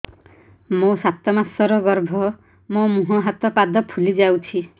ମୋ ସାତ ମାସର ଗର୍ଭ ମୋ ମୁହଁ ହାତ ପାଦ ଫୁଲି ଯାଉଛି